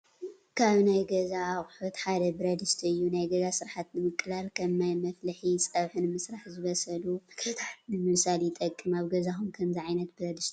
ካብ ናይ ገዛ ኣቑሑት ሓደ ብረድስቲ እዩ፡፡ ናይ ገዛ ስራሕቲ ንምቅላልን ከም ማይ መፍልሒ፣ ፀብሒ ንምስራሕን ዝበስሉ ምግብታት ንምብሳልን ይጠቅም፡፡ ኣብ ገዛኹም ከምዚ ዓይነት ብረድስቲ ዶ ኣለኩም?